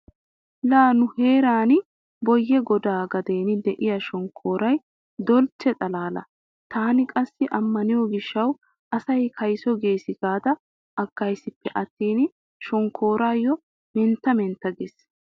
Laa nu heeran Booyye godaa gaden de'iya shonkkooroy dolchche xalaala. Tana qassi ammaniyo gishshawu asay kayso gees gaada aggaysippe attin shonkkooroy mentta mentta giissees.